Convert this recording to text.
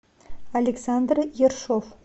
александр ершов